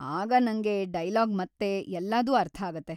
ಆಗ ನಂಗೆ ಡೈಲಾಗ್‌ ಮತ್ತೆ ಎಲ್ಲದೂ ಅರ್ಥಾಗತ್ತೆ.